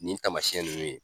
Nin tamasiyɛn nunnu ye